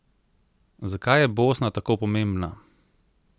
Zakaj je Bosna tako pomembna?